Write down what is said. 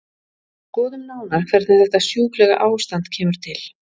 Skoðum nánar hvernig þetta sjúklega ástand kemur til.